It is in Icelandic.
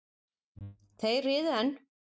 Þeir riðu enn.